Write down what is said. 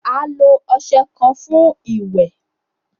A lo ọṣẹ kan fun iwẹ